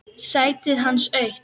Sætið hans autt.